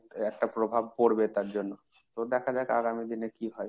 একটা প্রভাব পড়বে তার জন্য। তো দেখা যাক আগামী দিনে কি হয়?